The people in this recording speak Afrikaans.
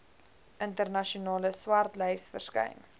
internasionale swartlys verskyn